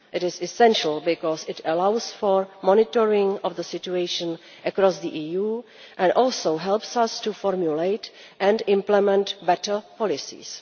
It is essential because it allows for monitoring of the situation across the EU and also helps us to formulate and implement better policies.